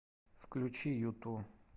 включи юту